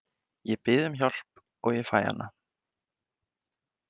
Ég bið um hjálp og ég fæ hana.